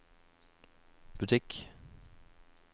butikk